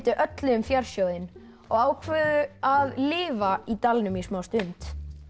öllu um fjársjóðinn og ákváðu að lifa í dalnum í smástund